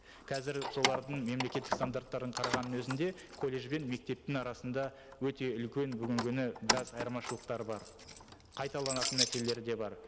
қазір солардың мемлекеттік стандарттарын қарағанның өзінде колледж бен мектептің арасында өте үлкен бүгінгі күні біраз айырмашылықтар бар қайталанатын мәселелері де бар